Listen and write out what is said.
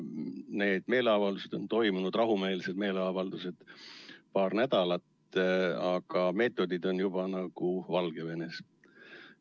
Need meeleavaldused, rahumeelsed meeleavaldused on toimunud paar nädalat, aga meetodid on juba nagu Valgevenes.